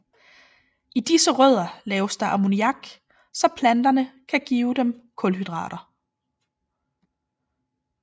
I disse rødder laves der ammoniak så planterne kan give dem kulhydrater